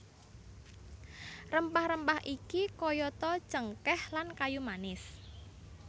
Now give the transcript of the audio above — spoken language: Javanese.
Rempah rempah iki kayata cengkéh lan kayu manis